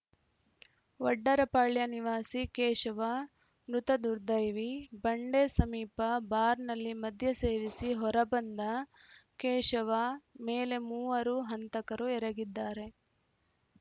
ವಡ್ಡರಪಾಳ್ಯ ನಿವಾಸಿ ಕೇಶವ ಮೃತ ದುರ್ದೈವಿ ಬಂಡೆ ಸಮೀಪ ಬಾರ್‌ನಲ್ಲಿ ಮದ್ಯ ಸೇವಿಸಿ ಹೊರ ಬಂದ ಕೇಶವ ಮೇಲೆ ಮೂವರು ಹಂತಕರು ಎರಗಿದ್ದಾರೆ